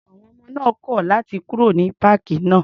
À̀wọn ọmọ náà kọ̀ láti kúrò ní páàkì náà.